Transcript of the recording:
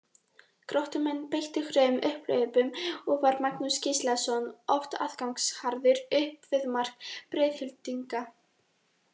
Gróttumenn beittu hröðum upphlaupum og var Magnús Gíslason oft aðgangsharður upp við mark Breiðhyltinga.